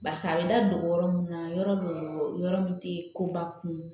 Barisa a bɛ da don yɔrɔ mun na yɔrɔ do yɔrɔ min te koba kun